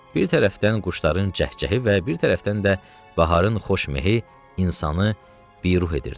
bir tərəfdən quşların cəhcəhi və bir tərəfdən də baharın xoş mehi insanı bir ruh edirdi.